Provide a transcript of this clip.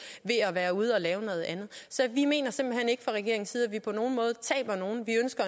ved at være ude og lave noget andet så vi mener simpelt hen ikke fra regeringens side